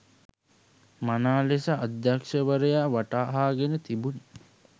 මනා ලෙස අධ්‍යක්ෂවරයා වටහාගෙන තිබුණි